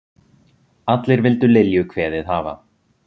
Allir vildu Lilju kveðið hafa.